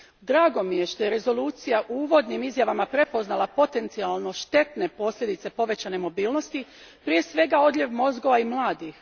Drago mi je što je rezolucija u uvodnim izjavama prepoznala potencijalno štetne posljedice povećane mobilnosti, prije svega odljev mozgova i mladih.